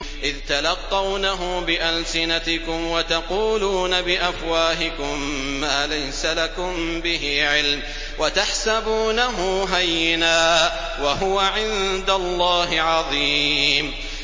إِذْ تَلَقَّوْنَهُ بِأَلْسِنَتِكُمْ وَتَقُولُونَ بِأَفْوَاهِكُم مَّا لَيْسَ لَكُم بِهِ عِلْمٌ وَتَحْسَبُونَهُ هَيِّنًا وَهُوَ عِندَ اللَّهِ عَظِيمٌ